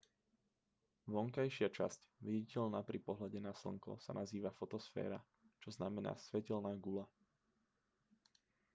vonkajšia časť viditeľná pri pohľade na slnko sa nazýva fotosféra čo znamená svetelná guľa